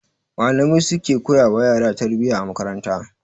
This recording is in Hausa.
Malamai su suke koya wa yara tarbiyya a makaranta